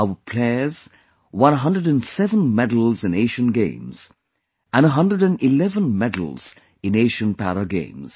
Our players won 107 medals in Asian Games and 111 medals in Asian Para Games